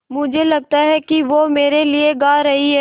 मुझे लगता है कि वो मेरे लिये गा रहीं हैँ